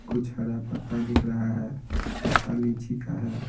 कुछ हरा पत्ता दिख रहा है पत्ता लीची का है।